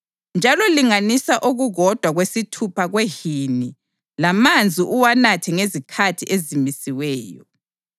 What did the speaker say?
Njalo linganisa okukodwa kwesithupha kwehini lamanzi uwanathe ngezikhathi ezimisiweyo.